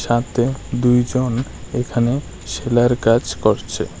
তাতে দুইজন এখানে সেলাইয়ের কাজ করছে।